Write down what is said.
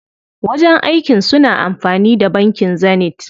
Wajen aikin su na amfani da bankin Zenith.